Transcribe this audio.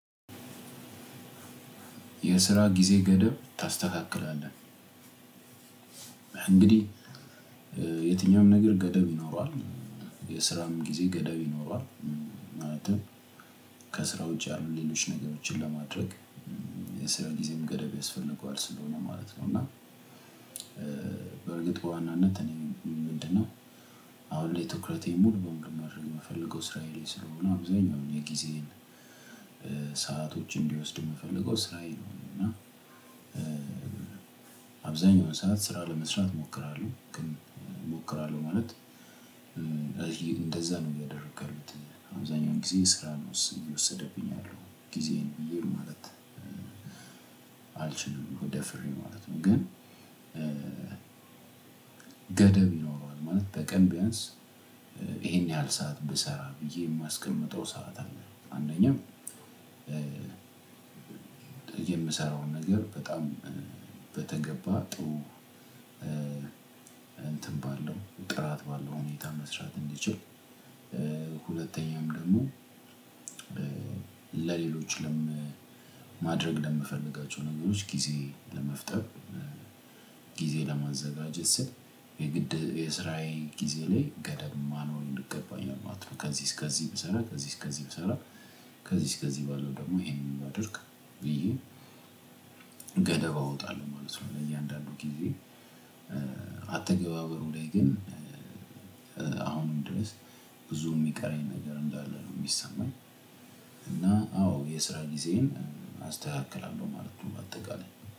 የስራ ጊዜ ገደብ ታስተካክላለህ? እንግዲህ የትኛውም ነገር ገደብ ይኖረዋል። የስራም ጊዜ ገደብ ይኖረዋል። ማለትም ከስራ ውጪ ያሉ ሌሎች ነገሮችን ለማድረግ የሰራ ጊዜም ገደብ ያስፈልገዋል ስለሆነ ማለት ነው። እና በእርግጥ በዋናነት ምንድን ነው? አሁን ላይ ትኩረቴን ሙሉ ለሙሉ ማድረግ የምፈልገው ስራዬ ላይ ስለሆነ አብዛኛውን የግዜዬን ሰአቶችን እንዲወስድ የምፈልገው ስራዬ ነው። እና አብዛኛውን ሰዓት ስራ ለመስራት እሞክራለሁ። ግን እሞክራለሁ ማለት እንደዛ ነው እያደረኩ ያለሁት። አብዛኛውን ጊዜ ስራ ነው እየወሰደብኝ ያለው ጊዜን በሙሉ ማለት አልችልም ደፍሬ ማለት ነው። ግን ገደብ ይኖረዋል። ማለት በቀን ቢያንስ ይሄን ያህል ሰዓት ብሰራ ብዬ የማስቀምጠው ሰዓት አለ። አንደኛው የምሰራውን ነገር በጣም በተገባ ጥሩ እንትን ባለው ጥራት ባለው ሁኔታ መስራት እንዲችል። ሁለተኛውም ደግሞ ለሌሎች ማድረግ ለምፈልጋቸው ነገሮች ጊዜ ለመፍጠር ጊዜ ለማዘጋጀት ስል የግድ የስራዬ ጊዜ ላይ ገደብ ማኖር ይገባኛል ማለት ነው። ከዚህ እስከዚህ ብሰራ ከዚህ እስከዚህ ብሰራ ከዚህ እስከዚህ ባለው ደግሞ ይሄንን ባደርግ ብዬ ገደብ አወጣለሁ ማለት ነው ለእያንዳንዱ ጊዜ። አተገባበሩ ላይ ግን አሁን ድረስ ብዙ የሚቀረኝ ነገር እንዳለ ነው የሚሰማኝ። እና አዎ የስራ ጊዜን አስተካክላለሁ ማለት ነው በአጠቃላይ።